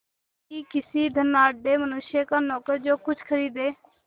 कि किसी धनाढ़य मनुष्य का नौकर जो कुछ खरीदे